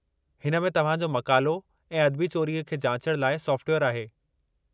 हिन में तव्हां जो मक़ालो ऐं अदबी चोरीअ खे जाचणु लाइ सोफ़्टवेयरु आहे।